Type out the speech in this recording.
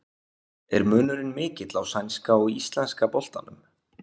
Er munurinn mikill á sænska og íslenska boltanum?